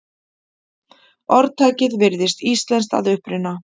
Orðtakið virðist íslenskt að uppruna.